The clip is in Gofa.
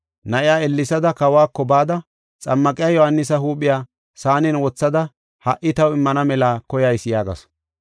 Na7iya ellesada kawako bada, “Xammaqiya Yohaanisa huuphiya saanen wothada ha77i taw immana mela koyayis” yaagasu.